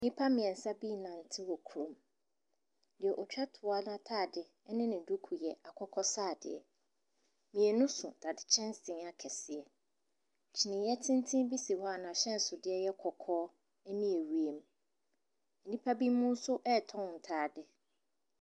Nnipa mmiɛnsa bii nante wɔ kurom. Deɛ ɔtwa toɔ ataade ɛne ne duku yɛ akokɔsaadeɛ. Mmienu so dadekyɛnsee akɛseɛ. Kyiniyɛ tenten bi si hɔ a n'ahyɛnsodeɛ yɛ kɔkɔɔ ɛne ɛwiem. Nnipa bi mo nso ɛɛtɔn ntaade.